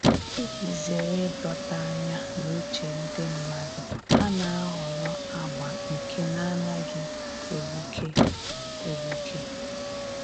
Iji zere ịdọta anya na uche ndị mmadụ, ha na-ahọrọ agba nke na-anaghị egbuke egbuke